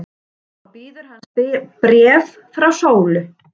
Þá bíður hans bréf frá Sólu.